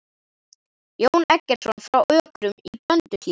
Jón Eggertsson frá Ökrum í Blönduhlíð.